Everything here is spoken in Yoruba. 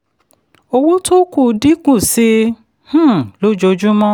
owó tó kù dínkù sí i um lójoojúmọ́.